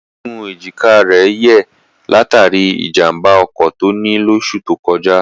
Egungun èjìká rẹ̀ yẹ̀ látàrí ìjàmbá ọkọ̀ tó ní lóṣù tó kọjá.